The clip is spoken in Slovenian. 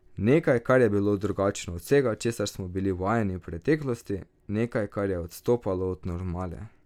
Nekaj, kar je bilo drugačno od vsega, česar smo bili vajeni v preteklosti, nekaj, kar je odstopalo od normale.